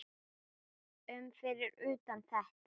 um fyrir utan þetta.